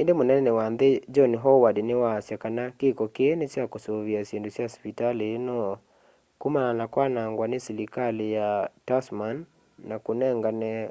indi mũnene wa nthi john howard ni waasya kana kiko kii ni cha kusũvia syindũ sya sivitali ino kũmana na kwanangwa ni selikali ya tasman kwa kũnengane aud$